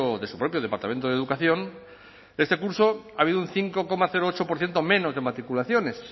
de su propio departamento de educación este curso ha habido un cinco coma ocho por ciento menos de matriculaciones